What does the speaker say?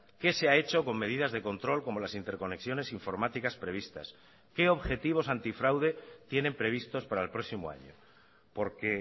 qué se ha hecho con medidas de control como las interconexiones informáticas previstas qué objetivos antifraude tienen previstos para el próximo año porque